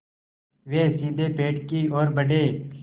वे सीधे पेड़ की ओर बढ़े